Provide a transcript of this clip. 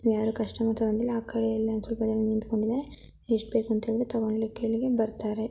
ಯಾರೋ ಕಸ್ಟಮರ್ಸಿದ್ದಾರೆ ಈ ಕಡೆ ಆ ಕಡೆಯಲ್ಲ ] ಎಷ್ಟು ಬೇಕು ಬರ್ತಾರೆ.